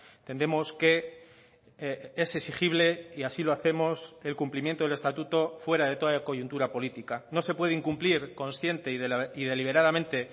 entendemos que es exigible y así lo hacemos el cumplimiento del estatuto fuera de toda coyuntura política no se puede incumplir consciente y deliberadamente